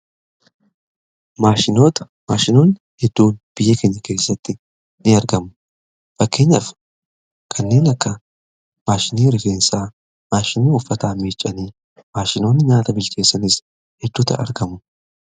maashinoon hedduu biyya kenyaa keessatti in argamu fakkeenyaaf kanneen akka maashinii rifeensa maashinii uffataa miichanii maashinoonni nyaata bilceessaniis hedduuta argamu